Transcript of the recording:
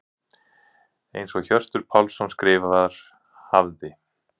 Eins og Hjörtur Pálsson skrifar: Hafði.